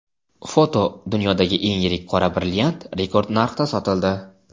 Foto: Dunyodagi eng yirik qora brilliant rekord narxda sotildi.